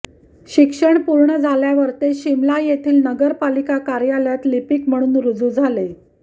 शिक्षण पूर्ण झाल्यावर ते शिमला येथील नगरपालिका कार्यालयात लिपीक म्हणून रूजू झाले